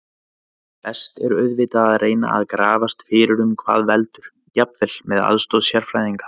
Best er auðvitað að reyna að grafast fyrir um hvað veldur, jafnvel með aðstoð sérfræðinga.